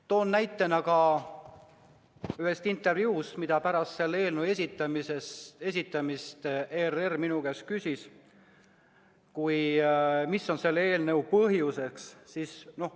Toon näite ühest intervjuust, mille käigus pärast selle eelnõu esitamist ERR minu käest küsis: mis on selle eelnõu põhjus?